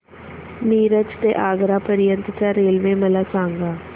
मिरज ते आग्रा पर्यंत च्या रेल्वे मला सांगा